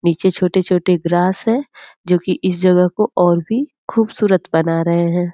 निचे छोटे छोटे ग्रास हैं जो की इस जगह को और भी खूबसूरत बना रहे हैं।